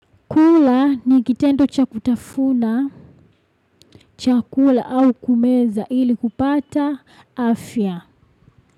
Chakula ni kitendo cha kutafuna, chakula au kumeza ili kupata afya.